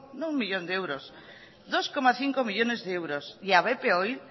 no uno millón de euros dos coma cinco millónes de euros y a bp oil